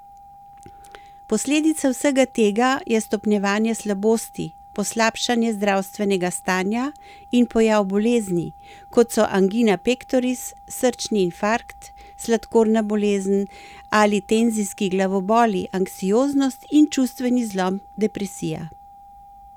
Posledica vsega tega je stopnjevanje slabosti, poslabšanje zdravstvenega stanja in pojav bolezni, kot so angina pektoris, srčni infarkt, sladkorna bolezen ali tenzijski glavoboli, anksioznost in čustveni zlom depresija.